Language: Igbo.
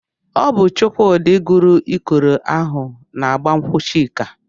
Ọ bụ Chukwudi kụrụ ikoro ahụ n'igba nkwụ Chika.